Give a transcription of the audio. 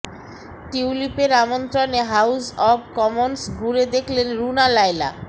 টিউলিপের আমন্ত্রণে house of commons ঘুরে দেখলেন রুনা লায়লা